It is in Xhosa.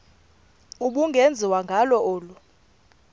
ubungenziwa ngalo olu